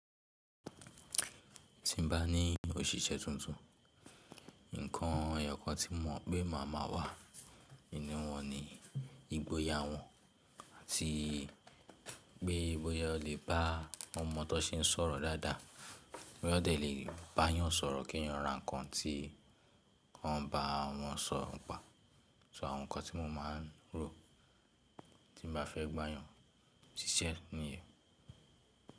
Tí n bá ní òṣìṣẹ́ tuntun, ǹkan ẹyọ̀kan tí mo mọ̀ pé ma ma wà nínú wọn ni ìgboyà wọn, àti pé bóyá oo lè bá ọmọ tó ń sọ̀rọ̀ dada, bóyá oo dé lè bá èèyàn sọ̀rọ̀ kí wọn ra ǹkan tí wọ́n bá wọn sọ pa. So àwọn ǹkan tí mo ma ń rò tí bá fẹ́ gba èèyàn ṣiṣẹ́ nìyẹn.